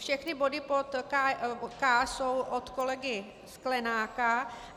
Všechny body pod K jsou od kolegy Sklenáka.